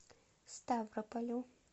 ставрополю